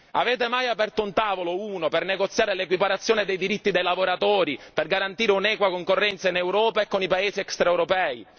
Avete mai aperto un tavolo, uno, per negoziare l'equiparazione dei diritti dei lavoratori, per garantire un'equa concorrenza in Europa e con i Paesi extraeuropei?